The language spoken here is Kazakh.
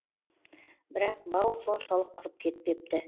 бірақ бау соншалық құрып кетпепті